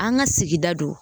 An ŋa sigida do